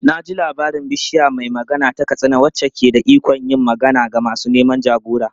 Na ji labarin Bishiya mai Magana ta Katsina wacce ke da ikon yin magana da masu neman jagora.